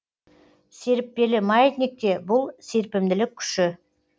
серіппелі маятникте бұл серпімділік күші